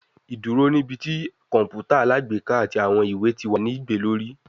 Iduro ni ibi ti kọǹpútà alágbèéká ati awọn iwe ti wa ni gbe lori